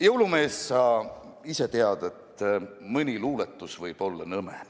Jõulumees, sa ise tead, et mõni luuletus võib-olla nõme.